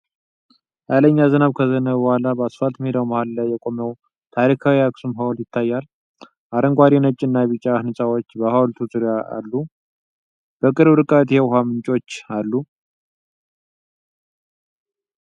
ኃይለኛ ዝናብ ከዘነበ በኋላ በአስፋልት ሜዳው መሃል ላይ የቆመው ታሪካዊው የአክሱም ሐውልት ይታያል። አረንጓዴ፣ ነጭ እና ቢጫ ህንፃዎች በሐውልቱ ዙሪያ አሉ። በቅርብ ርቀት የውሃ ምንጮች አሉ።